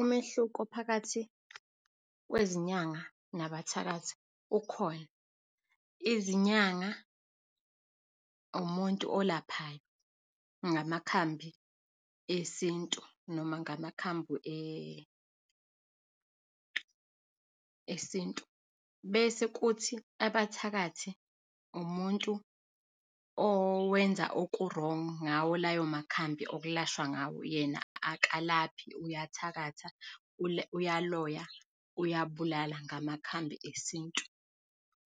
Umehluko phakathi kwezinyanga nabathakathi ukhona. Izinyanga umuntu olaphayo ngamakhambi esintu, noma ngamakhambi esintu, bese kuthi abathakathi, umuntu owenza oku-wrong ngawo layo makhambi okulashwa ngawo. Yena akalaphi, uyathakatha, uyaloya, uyabulala ngamakhambi esintu.